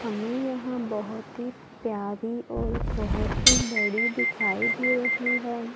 हमें यहां बहोत ही प्यारी और बहोत ही बड़ी दिखाई दे रही हैं।